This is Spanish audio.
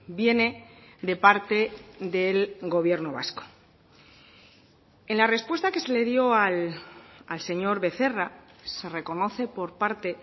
viene de parte del gobierno vasco en la respuesta que se le dio al señor becerra se reconoce por parte